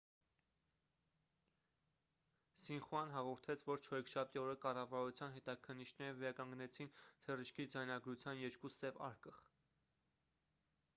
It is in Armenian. սինխուան հաղորդեց որ չորեքշաբթի օրը կառավարության հետաքննիչները վերականգնեցին թռիչքի ձայնագրության երկու 'սև արկղ'